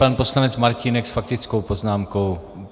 Pan poslanec Martínek s faktickou poznámkou.